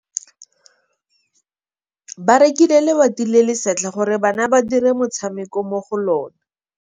Ba rekile lebati le le setlha gore bana ba dire motshameko mo go lona.